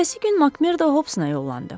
Ertəsi gün Makmerda Hobsa yollandı.